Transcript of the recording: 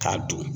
K'a don